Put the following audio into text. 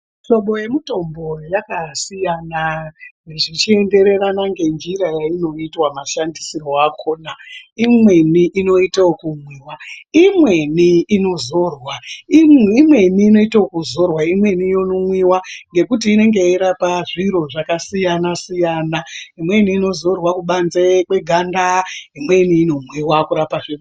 Muhlobo yemitombo yakasiyana zvichiendererana ngenjira yayinoitwa mashandisirwe akhona imweni inoitwa ekumwiwa imweni inozorwa imweni inoitwa ekuzorwa imweni yomwiwa ngekuti inenge yeirapa zviro zvakasiyana siyana imweni inozorwa kubanze kweganda imweni inomwiwa kurapa .